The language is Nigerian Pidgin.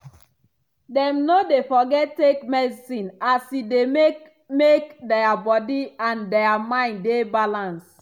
dem no dey forget take medicine as e dey make make dia body and dia mind dey balance.